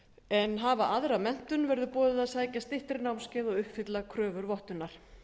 en hafa aðra menntun verður boðið að sækja styttri námskeið og uppfylla kröfur vottunar